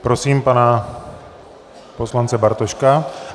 Prosím pana poslance Bartoška.